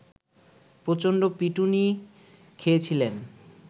প্রচন্ড পিটুনি খেয়েছিলেন